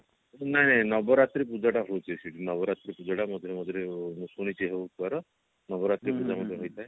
ନାଇଁ ନାଇଁ ନବରାତ୍ରି ପୂଜା ଟା ହଉଛି ସେଠି ନବରାତ୍ରି ପୂଜା ଟା ମଝିରେ ମଝିରେ ମୁଁ ଶୁଣିଛି ହଉଛି କୁଆଡେ ନବରାତ୍ରି ପୂଜାଟା ହେଇଥାଏ